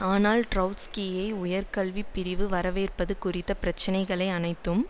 ஆனால் ட்ரொட்ஸ்கியை உயர்கல்விப் பிரிவு வரவேற்பது குறித்த பிரச்சினைகள் அனைத்தும்